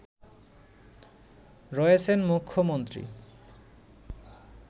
রয়েছেন মুখ্যমন্ত্রী